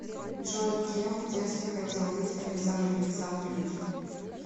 джой кем в детстве хотел быть александр александрович